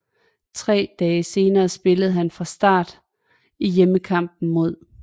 Tre dage senere spillede han fra start i hjemmekampen mod